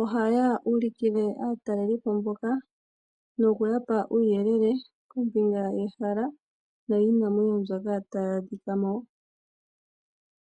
ohaya ulikile aatalelipo mbaka noku yapa uuyelele kombinga yehala nowiinamwenyo mbyoka tayi adhika mo.